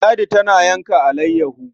Ladi tana yanka alayyaho.